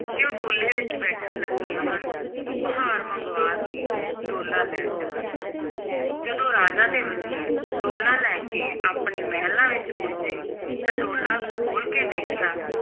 ਕਿ ਉਹ ਡੋਲੇ ਵਿਚ ਬੈਠਣ ਲੱਗੀਆਂ ਹਨ, ਉਹ ਕਹਾਰ ਮੰਗਵਾ ਕੇ ਡੋਲਾ ਲੈ ਚੱਲਣ ਜਦੋਂ ਰਾਜਾ ਤੇ ਵਜ਼ੀਰ ਡੋਲਾ ਲੈ ਕੇ ਆਪਣੇ ਮਹਿਲਾਂ ਵਿੱਚ ਪੁੱਜੇ, ਤਾਂ ਡੋਲਾ ਖੋਲ੍ਹ ਕੇ ਦੇਖਿਆ,